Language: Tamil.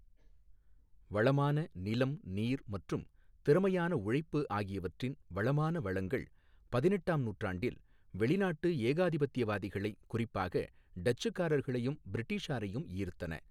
வளமான நிலம், நீர் மற்றும் திறமையான உழைப்பு ஆகியவற்றின் வளமான வளங்கள் பதினெட்டாம் நூற்றாண்டில் வெளிநாட்டு ஏகாதிபத்தியவாதிகளை, குறிப்பாக டச்சுக்காரர்களையும், பிரிட்டிஷாரையும் ஈர்த்தன.